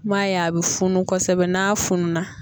I m'a ye a bɛ funu kosɛbɛ n'a fununna.